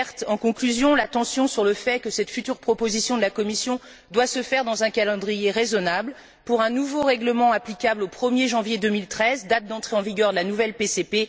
En conclusion, j'alerte l'attention sur le fait que cette future proposition de la Commission doit se faire dans un calendrier raisonnable, pour un nouveau règlement applicable au 1er janvier 2013, date d'entrée en vigueur de la nouvelle PCP.